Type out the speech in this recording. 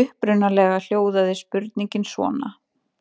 Upprunalega hljóðaði spurningin svona: